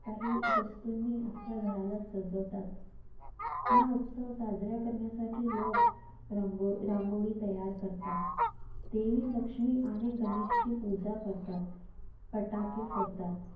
काही वस्तूंनी आपल्या घराला सजवतात. हा उत्सव साजरा करण्यासाठी लोक रांग~ रांगोळी तयार करतात. देवी लक्ष्मी आणि गणेशची पूजा करतात. फटाके फोडतात.